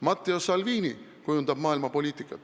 Matteo Salvini kujundab maailma poliitikat.